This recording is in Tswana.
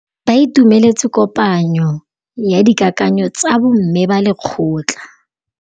Ba itumeletse kôpanyo ya dikakanyô tsa bo mme ba lekgotla.